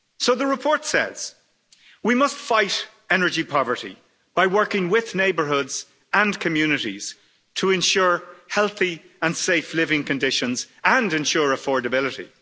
The report says we must fight energy poverty by working with neighbourhoods and communities to ensure healthy and safe living conditions and ensure affordability.